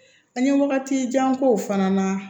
An ye wagati jan k'o fana na